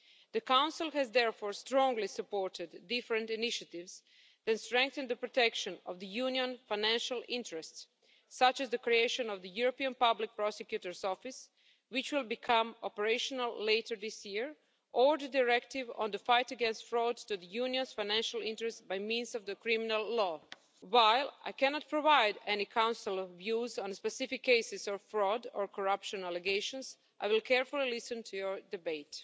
The Council has therefore strongly supported different initiatives that strengthen the protection of the Union's financial interests, such as the creation of the European Public Prosecutor's Office, which will become operational later this year, or the Directive on the Fight against Fraud to the Union's Financial Interests by means of Criminal Law. While I cannot provide any Council views on specific cases of fraud or corruption allegations, I will carefully listen to your debate.